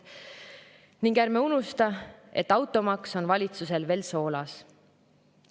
Ning ärme unustame, et automaks on valitsusel veel soolas.